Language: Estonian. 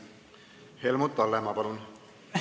Helmut Hallemaa, palun!